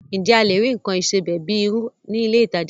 Ǹjẹ́ a lè rí nǹkan ìsebẹ̀ bíi irú ní ilé ìtajà ńlá?